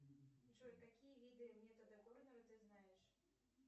джой какие виды метода горного ты знаешь